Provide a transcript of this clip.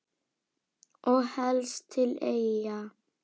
Og helst til Eyja.